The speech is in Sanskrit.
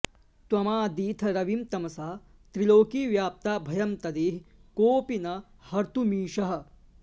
त्वमादिथ रविं तमसा त्रिलोकी व्याप्ता भयं तदिह कोऽपि न हर्त्तुमीशः